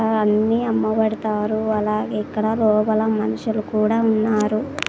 ఆ అన్ని అమ్మవారు తారు అలాగే ఇక్కడ రోగల మనుషులు కూడా ఉన్నారు.